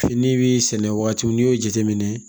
Fini bi sɛnɛ wagati min n'i y'o jateminɛ